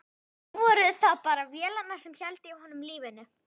Nú voru það bara vélarnar sem héldu í honum lífinu.